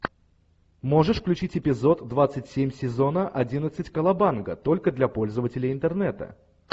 можешь включить эпизод двадцать семь сезона одиннадцать колобанга только для пользователей интернета